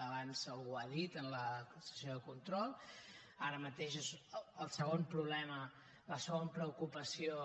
abans algú ho ha dit en la sessió de control ara mateix és el segon problema la segona preocupació